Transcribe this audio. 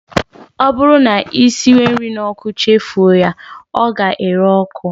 Ọ bụrụ na ị siwe nri n'ọkụ chefuo ya, ọ ga-ere ọkụ